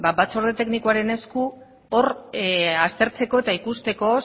batzorde teknikoaren esku hor aztertzeko eta ikusteko